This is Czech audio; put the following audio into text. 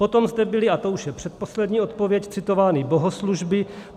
Potom zde byly, a to už je předposlední odpověď, citovány bohoslužby.